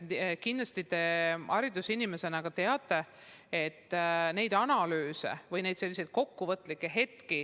Kindlasti te haridusinimesena teate, et tehakse analüüse või kokkuvõtteid.